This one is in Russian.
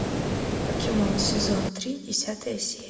покемон сезон три десятая серия